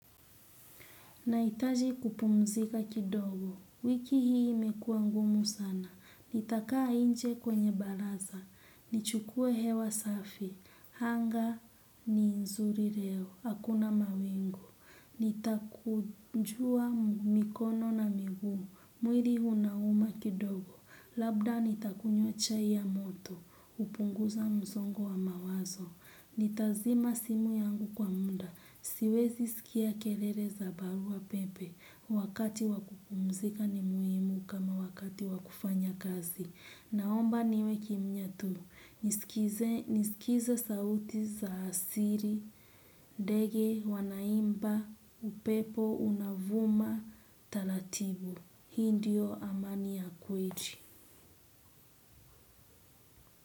Naitaji kupumzika kidogo, wiki hii imekua ngumu sana, nitakaa inje kwenye balaza, nichukue hewa safi, hanga. Ni nzuri leo, hakuna mawingu, nitakunjua mikono na miguu, mwili unauma kidogo, labda nitakunywa chai ya moto, hupunguza msongo wa mawazo, nitazima simu yangu kwa muda. Siwezi sikia kelele za barua pepe. Wakati wakupumzika ni muhimu kama wakati wakufanya kazi. Naomba niwe kimya tu. Nisikize sauti za asili, ndege wanaimba, upepo unavuma, taratibu. Hii ndiyo amani ya kweli.